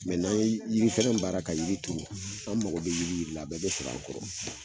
n'an ye yiri fɛnɛ baara ka yiri turu an mago bɛ yiri yiri la, a bɛɛ bɛ sɔrɔ an kɔrɔ